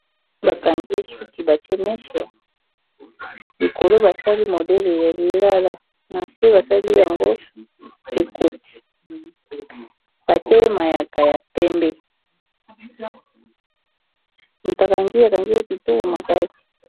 bai bakangiye suki batie mese likolo basali modele ya lilala na se basali yango ekoti batiey mayaka ya pembe mutakangi akangiya kitoko makasi